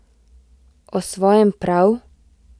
O svojem prav?